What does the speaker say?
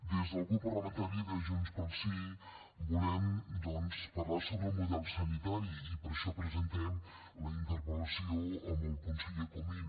des del grup parlamentari de junts pel sí volem doncs parlar sobre el model sanitari i per això presentem la interpel·lació al conseller comín